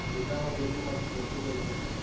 ठीक आहे मग भेटू मग गोष्टी करू.